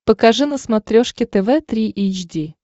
покажи на смотрешке тв три эйч ди